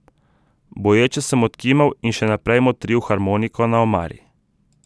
Boječe sem odkimal in še naprej motril harmoniko na omari.